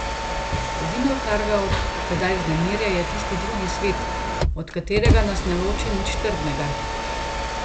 Edino, kar ga od tedaj vznemirja, je tisti drugi svet, od katerega nas ne loči nič trdnega.